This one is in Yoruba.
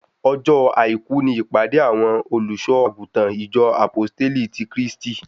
Ọjọ́ àìkú ni ìpàdé àwọn olùṣọ àgùntàn ìjọ Àpóstélì ti Kristi